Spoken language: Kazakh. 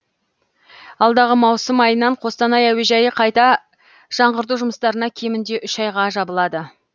алдағы маусым айынан қостанай әуежайы қайта жаңғырту жұмыстарына кемінде үш айға жабылады